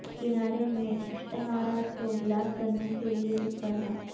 کنارے میں اشتھارات کو بلاک کرنے کے لئے کس طرح